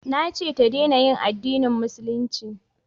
Na ce ta dena yin addinin musulunci